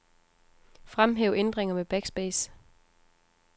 Fremhæv ændringer med backspace.